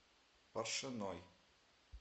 паршиной